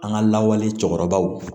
An ka lawale cɛkɔrɔbaw